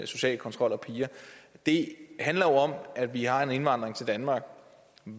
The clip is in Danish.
social kontrol af piger det handler om at vi har en indvandring til danmark